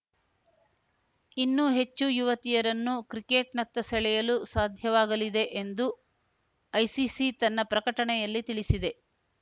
ಇನ್ನೂ ಹೆಚ್ಚು ಯುವತಿಯರನ್ನು ಕ್ರಿಕೆಟ್‌ನತ್ತ ಸೆಳೆಯಲು ಸಾಧ್ಯವಾಗಲಿದೆ ಎಂದು ಐಸಿಸಿ ತನ್ನ ಪ್ರಕಟಣೆಯಲ್ಲಿ ತಿಳಿಸಿದೆ